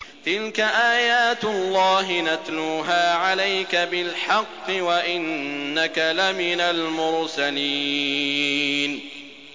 تِلْكَ آيَاتُ اللَّهِ نَتْلُوهَا عَلَيْكَ بِالْحَقِّ ۚ وَإِنَّكَ لَمِنَ الْمُرْسَلِينَ